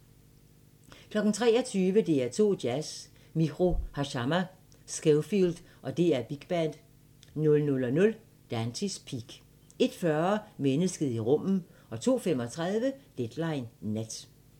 23:00: DR2 Jazz: Miho Hazama, Scofield og DR Big Band 00:00: Dante's Peak 01:40: Mennesket i rummet 02:35: Deadline Nat